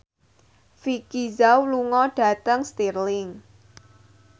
Vicki Zao lunga dhateng Stirling